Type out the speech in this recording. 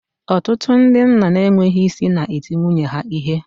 Ọtụtụ ndị nna na-enweghị isi na-eti nwunye ha ihe